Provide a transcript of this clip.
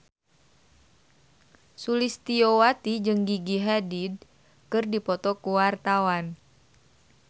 Sulistyowati jeung Gigi Hadid keur dipoto ku wartawan